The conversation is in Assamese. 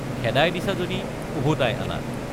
খেদাই দিছা যদি ওভোতাই আনা।